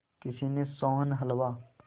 किसी ने सोहन हलवा